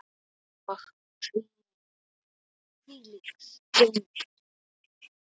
Og hvílík stund!